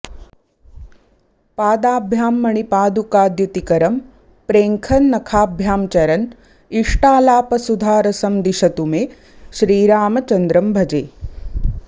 पादाभ्यां मणिपादुकाद्युतिकरं प्रेङ्खन्नखाभ्यां चरन् इष्टालापसुधारसं दिशतु मे श्रीरामचन्द्रं भजे